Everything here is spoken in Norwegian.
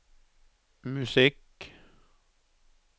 musikk